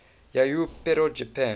yayoi period japan